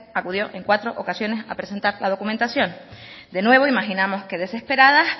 acudió en cuatro ocasiones a presentar la documentación de nuevo imaginamos que desesperada